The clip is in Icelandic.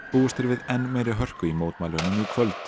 búist er við enn meiri hörku í mótmælunum í kvöld